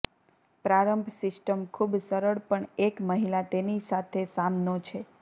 પ્રારંભ સિસ્ટમ ખૂબ સરળ પણ એક મહિલા તેની સાથે સામનો છે